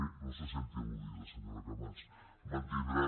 no se senti al·ludida senyora camats mantindrà